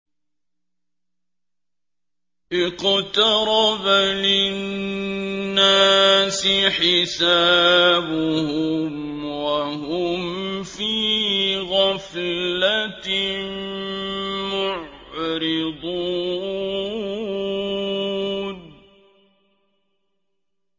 اقْتَرَبَ لِلنَّاسِ حِسَابُهُمْ وَهُمْ فِي غَفْلَةٍ مُّعْرِضُونَ